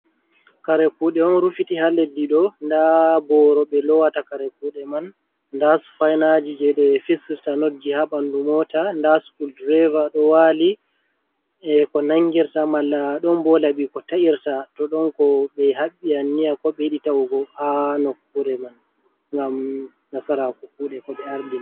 Kare kuɗe on rufiti ha leddi ɗo, nda boro ɓe lowata kare kuɗe man, nda sufaina ji je do fistira notji ha ɓandu mota, nda skul dreve ɗo wali ko nangirta malla ɗon bo laɓi ko ta’irta, to ɗon ko ɓe haɓɓi anniya ko ɓe yidi ta’ugo ha nokkure man, ngam nasaraku kuɗe ko ɓe ardi.